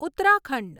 Uttarakhand